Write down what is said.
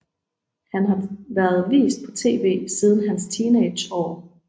Han har været vist på tv siden hans teenageår